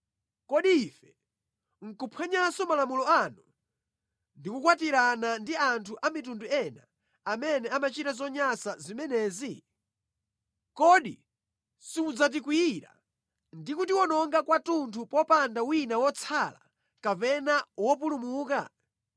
kodi ife nʼkuphwanyanso malamulo anu ndi kukwatirana ndi anthu amitundu ina amene amachita zonyansa zimenezi? Kodi simudzatikwiyira ndi kutiwononga kwathunthu popanda wina wotsala kapena wopulumuka?